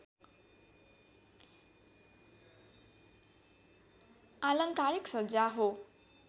आलङ्कारिक सज्जा हो